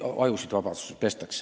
Palun lisaaega!